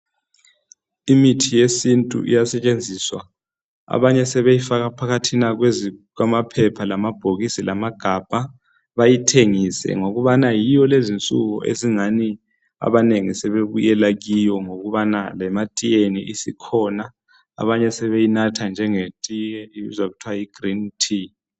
imithi yesintu iyasetshenziswa abanye sebeyifaka phakathina kwamaphepha lamabhokisi lamagabha bayithengise ngokubana yiyo lezi insuku esingani abanengi sebebuyela kiyo ngokubana lematiyeni isikhona abanye sebeyinatha njengetiye ibuzwa kuthwa yi green tea